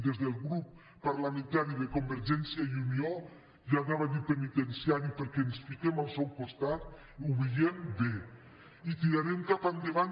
des del grup parlamentari de convergència i unió ja anava a dir penitenciari perquè ens fiquem al seu costat ho veiem bé i ho tirarem cap endavant